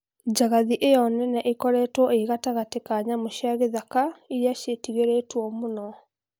Njagathi ĩyo nene ĩkoretwo ĩ gatagatĩ ka nyamũ cia gĩthaka irĩa cietigeretwo mũno